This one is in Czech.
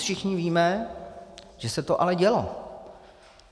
Dnes všichni víme, že se to ale dělo.